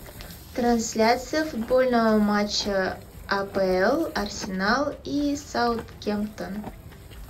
трансляция футбольного матча апл арсенал и саутгемптон